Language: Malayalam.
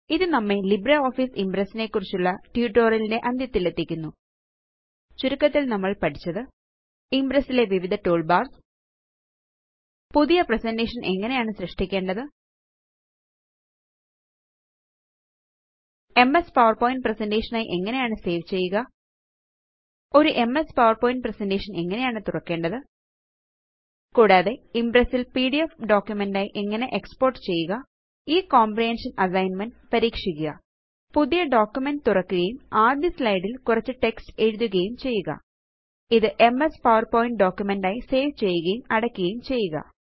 ഇത് നമ്മെ ലിബ്രിയോഫീസിംപ്രസ് നെക്കുറിച്ചുള്ള ട്യൂട്ടോറിയൽ ന്റെ അന്ത്യതിലെത്തിക്കുന്നു ചുരുക്കത്തില് നമ്മള് പഠിച്ചത് ഇംപ്രസ് ലെ വിവിധ ടൂൾബാർസ് പുതിയൊരു പ്രസന്റേഷൻ എങ്ങനെയാണ് സൃഷ്ടിക്കേണ്ടത് എംഎസ് പവർപോയിന്റ് പ്രസന്റേഷൻ ആയി എങ്ങനെയാണ് സേവ് ചെയ്യുക ഒരു എംഎസ് പവർപോയിന്റ് പ്രസന്റേഷൻ എങ്ങനെയാണ് തുറക്കേണ്ടത് കൂടാതെ ഇംപ്രസ് ല് പിഡിഎഫ് ഡോക്യുമെന്റ് ആയി എങ്ങനെയാണ് എക്സ്പോർട്ട് ചെയ്യുക ഈ കോമ്പ്രഹന്ഷന് അസൈന്മെന്റ് പരീക്ഷിക്കുക പുതിയൊരു ഡോക്യുമെന്റ് തുറക്കുകയും ആദ്യ സ്ലൈഡ് ല് കുറച്ച് ടെക്സ്റ്റ് എഴുതുകയും ചെയ്യുക ഇത് എംഎസ് പവർ പോയിന്റ് ഡോക്യുമെന്റ് ആയി സേവ് ചെയ്യുകയും അടയ്ക്കുകയും ചെയ്യുക